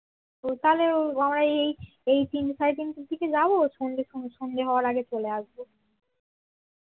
তাহলে আমরা এই এই তিনটা সাড়ে তিনটার দিকে যাব সন্ধ্যে হওয়ার আগে চলে আসবো